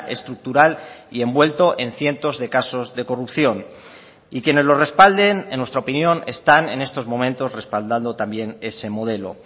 estructural y envuelto en cientos de casos de corrupción y quienes lo respalden en nuestra opinión están en estos momentos respaldando también ese modelo